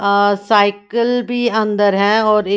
अ cycle भी अंदर हैं और एक--